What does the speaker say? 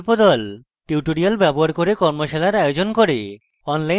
tutorials ব্যবহার করে কর্মশালার আয়োজন করে